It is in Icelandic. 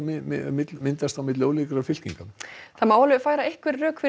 myndast milli ólíkra fylkinga það má færa rök fyrir